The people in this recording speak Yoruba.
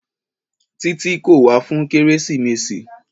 Títí kò wá fún kérésìmesì.